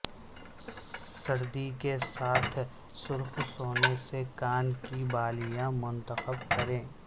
سرد کے ساتھ سرخ سونے سے کان کی بالیاں منتخب کریں